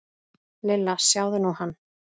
Lilla, sjáðu nú hann.